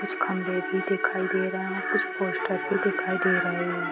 दिखाई दे रहा है कुछ पोस्टर भी दिखाई दे रहे हैं।